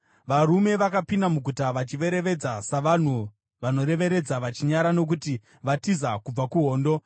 Varume vakapinda muguta vachiverevedza savanhu vanoverevedza vachinyara nokuti vatiza kubva kuhondo.